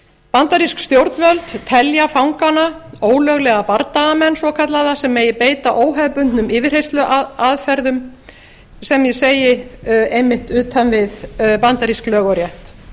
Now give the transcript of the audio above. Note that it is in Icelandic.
bandarísk stjórnvöld telja fangana ólöglega bardagamenn svokallaða sem megi beita óhefðbundnum yfirheyrsluaðferðum sem ég segi einmitt utan við bandarísk lög og rétt